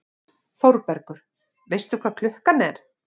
ÞÓRBERGUR: Veistu hvað klukkan er?